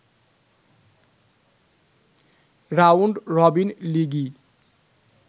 round robin লিগই